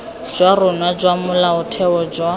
jwa rona jwa molaotheo jwa